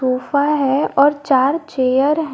Sofa है और चार चेयर है।